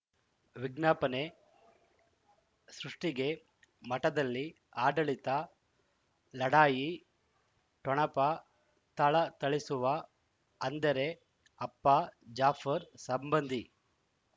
ವಿಜ್ಞಾಪನೆ ಸೃಷ್ಟಿಗೆ ಮಠದಲ್ಲಿ ಆಡಳಿತ ಲಢಾಯಿ ಠೊಣಪ ಥಳಥಳಿಸುವ ಅಂದರೆ ಅಪ್ಪ ಜಾಫರ್ ಸಂಬಂಧಿ